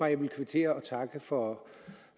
jeg ville kvittere og takke for